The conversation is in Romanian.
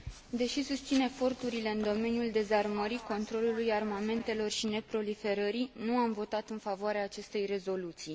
Deși susțin eforturile în domeniul dezarmării, controlului armamentelor și neproliferării, nu am votat în favoarea acestei rezoluții.